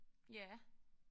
Ja